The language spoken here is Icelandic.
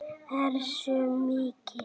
Hversu mikið?